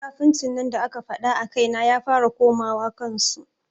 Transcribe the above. Munafuncin da aka faɗa a kaina ya fara komawa kan su.